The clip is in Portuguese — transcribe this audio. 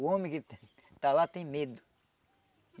O homem que está lá tem medo.